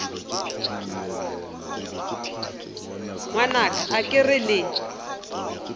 ngwanaka a ke re le